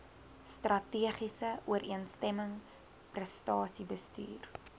strategiese ooreenstemming prestasiebestuur